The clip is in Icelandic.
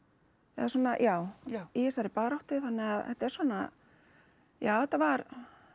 eða svona já í þessari baráttu þannig að þetta er svona já þetta var